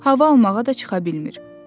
Hava almağa da çıxa bilmir.